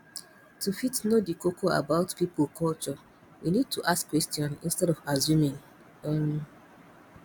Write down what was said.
to fit know di koko about pipo culture we need to ask question instead of assuming um